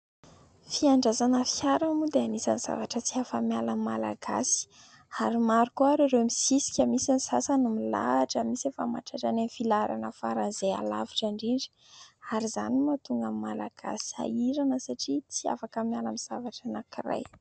Fiandrasana fiara moa dia anisan'ny zavatra tsy afa-miala amin'ny malagasy ary maro koa ireo mi sisika. Misy ny sasany no milahatra, misy efa mahatratra any amin'ny filaharana faran'izay alavitra indrindra ary izany no mahatonga ny malagasy sahirana satria tsy afaka miala amin'ny zavatra anankiray.